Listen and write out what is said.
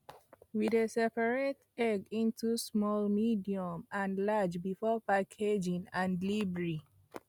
we dey separate egg into small medium and large before packaging and delivery